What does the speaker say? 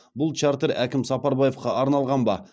бұл чартер әкім сапарбаевқа арналған ба